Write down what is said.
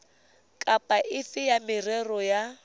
kapa efe ya merero ya